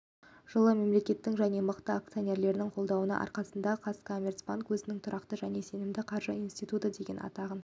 қайтара алды және халық тобының құрамында нарықта өз жұмысын жүйеқұрушы банк ретінде жалғастыра алды бүгінгі